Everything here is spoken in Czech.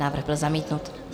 Návrh byl zamítnut.